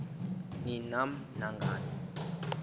ni nam nangani